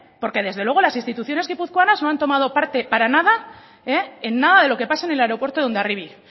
porque desde luego las instituciones guipuzcoanas no han tomado parte para nada en nada de lo que pasa en el aeropuerto de hondarribia